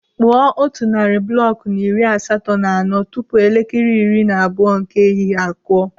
Kpụọ otu narị bụlọkụ na iri asatọ na anọ tupu elekere iri na abụọ nke ehihie akụọ.